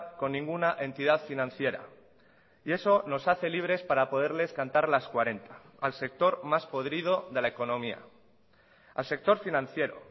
con ninguna entidad financiera y eso nos hace libres para poderles cantar las cuarenta al sector más podrido de la economía al sector financiero